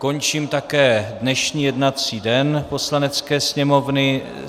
Končím také dnešní jednací den Poslanecké sněmovny.